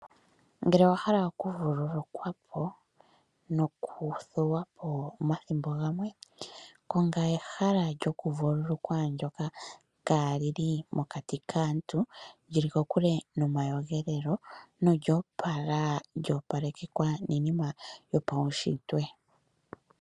Ngele owa hala okuvululukwapo nokuthuwapo omathimbo gamwe konga ehala lyokuvululukwa ndjoka kalili mokati kaantu lili kokule nomakudhilo nolyo pala lyopalekekwa niinima yopuushitwe.